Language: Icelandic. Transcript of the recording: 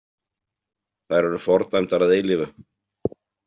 Þær eru fordæmdar að eilífu.